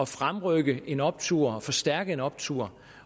fremrykke en optur forstærke en optur